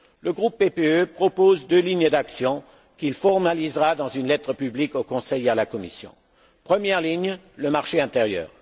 Le groupe PPE propose deux lignes d'action qu'il formalisera dans une lettre publique au Conseil et à la Commission. Première ligne le marché intérieur.